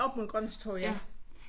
Oppe mod Grønlandstorvet ja